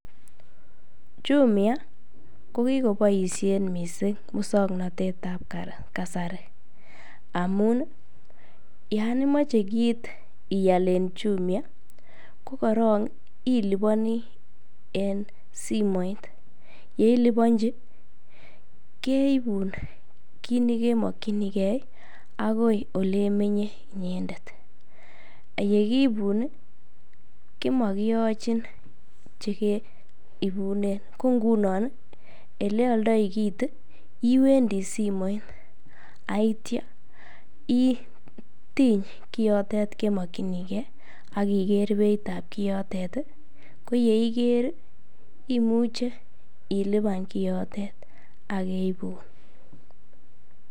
Jumia ko kikoboishen mising muswoknetetab kasari amun yoon imoche kiit ial en Jumia ko korong iliboni en simoit, yeilibonchi keibun kiit nekemokyinike akoi elemenye inyendet, yekiibun komokiyochin chekeibunen, ko ng'unon eleoldoi kiit iwendi simoit ak kityo itiny kiotet kemokyinike ak ikeer beitab kiotet, ko yeiker imuche iliban kiotet ak keibun.